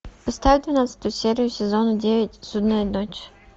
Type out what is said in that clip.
поставь двенадцатую серию сезона девять судная ночь